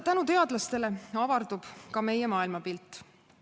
Tänu teadlastele avardub ka meie maailmapilt.